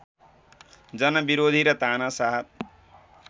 जनविरोधी र तानाशाह